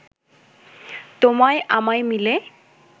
তোমায় আমায় মিলে